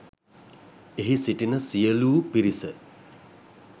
එහි සිටින සියලූ පිරිස